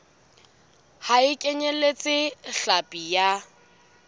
ha e kenyeletse hlapi ya